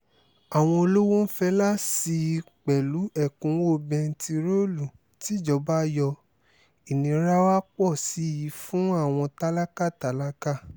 àwọn olówó ń fẹlá sí i pẹ̀lú ẹ̀kúnwọ́ bẹntiróòlù tìjọba yọ ìnira wàá pọ̀ sí i fún àwọn tálákà tálákà